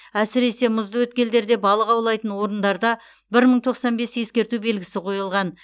әсіресе мұзды өткелдерде балық аулайтын орындарда бір мың тоқсан бес ескерту белгісі қойылған